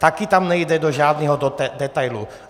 Taky tam nejde do žádného detailu.